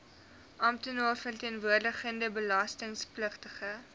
amptenaar verteenwoordigende belastingpligtige